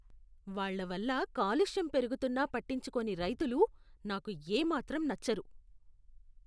వాళ్ళ వల్ల కాలుష్యం పెరుగుతున్నా పట్టించుకోని రైతులు నాకు ఏ మాత్రం నచ్చరు.